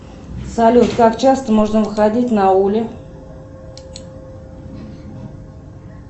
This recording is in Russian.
салют как часто можно выходить на ули